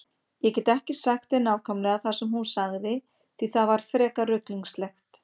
Ég get ekki sagt þér nákvæmlega það sem hún sagði því það var frekar ruglingslegt.